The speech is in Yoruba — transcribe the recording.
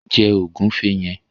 Jẹ ògúnfe yẹn!